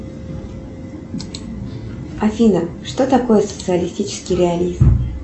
афина что такое социалистический реализм